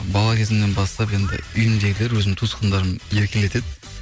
бала кезімнен бастап енді үйімдегі өзімнің туысқандарым еркелетеді